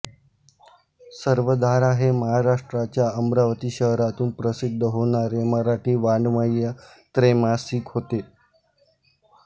सर्वधारा हे महाराष्ट्राच्या अमरावती शहरातून प्रसिद्ध होणारे मराठी वाङ्मयीन त्रैमासिक होते